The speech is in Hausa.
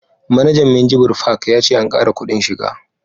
Manajan minjibir fak ya ce an kara kudin shiga